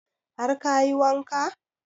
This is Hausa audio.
Har kayi wanka?